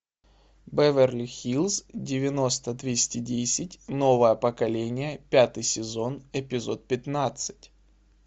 беверли хиллз девяносто двести десять новое поколение пятый сезон эпизод пятнадцать